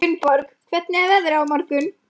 Gunnborg, hvernig er veðrið á morgun?